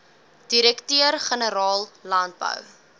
direkteur generaal landbou